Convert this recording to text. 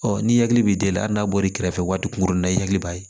Ɔ ni hakili bɛ deli hali n'a bɔr'i kɛrɛfɛ waati kunkurunna i hakili b'a ye